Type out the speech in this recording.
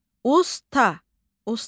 Usta, usta.